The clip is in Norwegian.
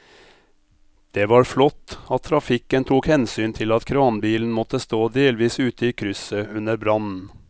Det var flott at trafikken tok hensyn til at kranbilen måtte stå delvis ute i krysset under brannen.